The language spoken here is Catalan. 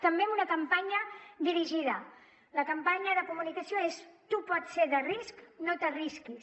també amb una campanya dirigida la campanya de comunicació és tu pots ser de risc no t’arrisquis